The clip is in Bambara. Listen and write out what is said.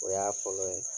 O y'a fɔlɔ ye